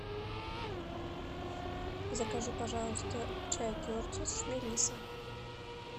закажи пожалуйста чай кертис с мелиссой